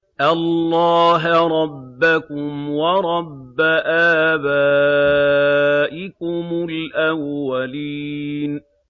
اللَّهَ رَبَّكُمْ وَرَبَّ آبَائِكُمُ الْأَوَّلِينَ